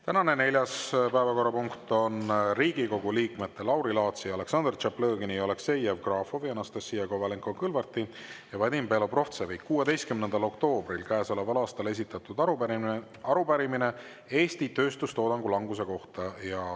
Tänane neljas päevakorrapunkt on Riigikogu liikmete Lauri Laatsi, Aleksandr Tšaplõgini, Aleksei Jevgrafovi, Anastassia Kovalenko-Kõlvarti ja Vadim Belobrovtsevi 16. oktoobril käesoleval aastal esitatud arupärimine Eesti tööstustoodangu languse kohta.